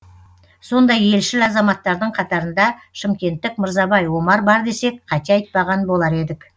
сондай елшіл азаматтардың қатарында шымкенттік мырзабай омар бар десек қате айтпаған болар едік